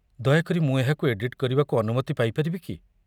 ଦୟାକରି ମୁଁ ଏହାକୁ ଏଡିଟ୍ କରିବାକୁ ଅନୁମତି ପାଇପାରିବି କି?